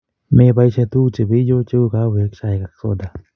Mepoishe tuguk che peiyo cheu kawek, chaik ak soda